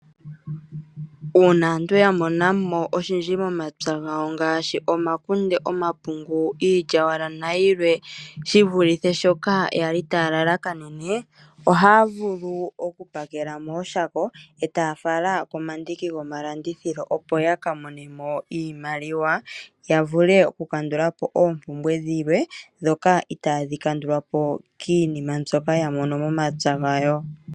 Uuna aantu yamonamo oshindji momapya gawo ngaashi omakunde, omapungu, iilyawala nayilwe shivulithe shoka yali taalalakanene ohaa vulu oku pakela mooshako eetaafala komandiki gomalandithilo opo yaka monemo iimaliwa. Yavule oku kandulapo oompumbwe dhilwe dhoka itaadhi vulu oku kandulawo kiinima mbyoka yamono momapya gawo.